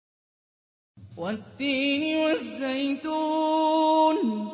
وَالتِّينِ وَالزَّيْتُونِ